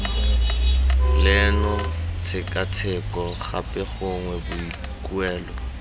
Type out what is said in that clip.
leno tshekatsheko gape gongwe boikuelo